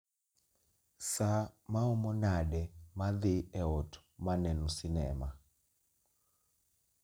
Saa maomo nade ma dhi e ot ma neno sinema